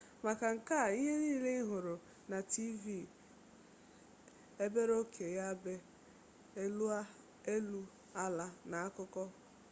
maka nke a ihe niile ihuru na tv ebere oke ya ebe elu ala na akuku